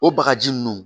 O bagaji nunnu